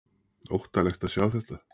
Óttalegt að sjá þetta!